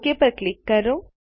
okay પર click કરો